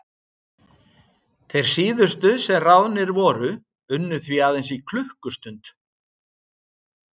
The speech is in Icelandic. Þeir síðustu sem ráðnir voru unnu því aðeins í klukkustund.